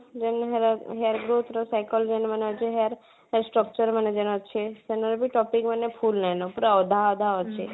main ହେଲା hair growth ର psychology ମାନେ ଅଛି hair hair structure ମାନେ ଯେଣ ଅଛି ସେଇତାନେ topic ମାନେ full ନାଇଁ ନା ପୁରା ଅଧା ଅଧା ଅଛି